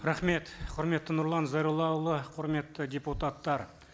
рахмет құрметті нұрлан зайроллаұлы құрметті депутаттар